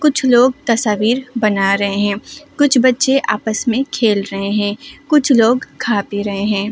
कुछ लोग तस्वीर बना रहे हैं कुछ बच्चे आपस में खेल रहे हैं कुछ लोग खा पी रहे हैं।